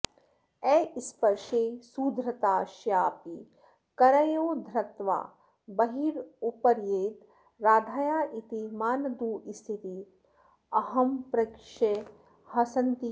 अस्पर्शे सुधृताशयापि करयोर्धृत्वा बहिर्यापयेद् राधाया इति मानदुःस्थितिमहं प्रेक्षे हसन्ती कदा